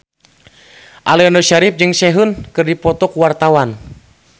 Aliando Syarif jeung Sehun keur dipoto ku wartawan